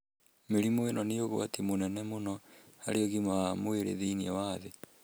Mĩrimũ ĩno nĩ ũgwati mũnene mũno harĩ ũgima wa mwĩrĩ thĩinĩ wa thĩ.